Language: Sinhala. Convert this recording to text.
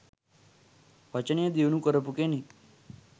වචනය දියුණු කරපු කෙනෙක්.